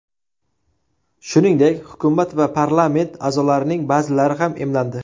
Shuningdek, hukumat va parlament a’zolarining ba’zilari ham emlandi.